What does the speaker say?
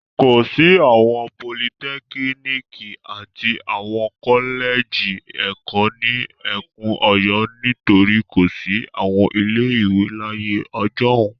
Kò sí àwọn politẹ́kíníkì aàti àwọn kọ́lẹ́jì ẹ̀kọ́ ní ẹkùn Ọ̀yọ́ nítorí kò sí àwọn ilé-ìwé láyé ọjọ́un.